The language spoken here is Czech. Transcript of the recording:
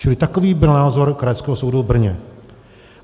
Čili takový byl názor Krajského soudu v Brně.